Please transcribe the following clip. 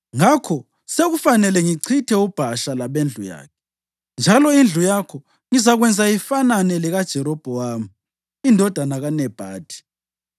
Ngakho sekufanele ngichithe uBhasha labendlu yakhe, njalo indlu yakho ngizakwenza ifanane lekaJerobhowamu indodana kaNebhathi.